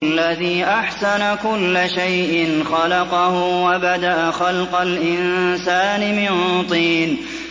الَّذِي أَحْسَنَ كُلَّ شَيْءٍ خَلَقَهُ ۖ وَبَدَأَ خَلْقَ الْإِنسَانِ مِن طِينٍ